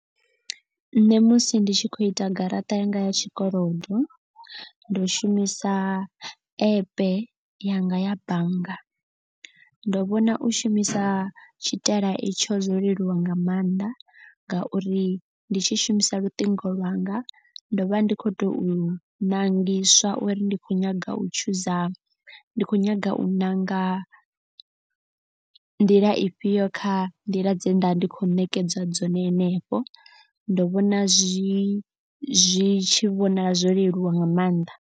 Nṋe musi ndi tshi khou ita garaṱa yanga ya tshikolodo ndo shumisa epe yanga ya bannga. Ndo vhona u shumisa tshitaela itsho zwo leluwa nga maanḓa. Ngauri ndi tshi shumisa luṱingo lwanga ndo vha ndi khou tou ṋangiswa uri ndi khou nyaga u tshuza ndi kho nyaga u ṋanga nḓila ifhio kha nḓila dze nda vha ndi khou nekedzwa dzone henefho. Ndo vhona zwi zwi tshi vhonala zwo leluwa nga maanḓa.